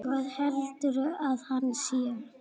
Hver heldur að hann sé?